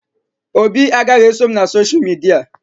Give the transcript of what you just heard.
Obi agaghị eso m na sosha midia